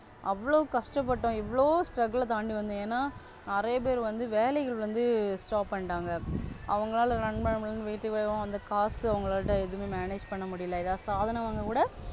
அவ்வளோ கஷ்டப்பட்டோம். இவ்ளோ Struggle தாண்டி வந்து ஏனா நிறைய பேரு வந்து வேலைகலை வந்து Stop பண்ணிட்டாங்க. அவங்களால ரன்பண்ண முடிலனு வீட்டுலவும் அந்த காசு அவங்களோட எது Manage பண்ண முடில எத்தன சாதனங்க விட,